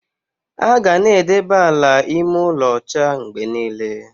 Aga na-edebe ala ime ụlọ ocha mgbe niile.